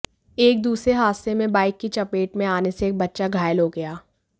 एक दूसरे हादसे में बाइक की चपेट में आने से एक बच्चा घायल हो गया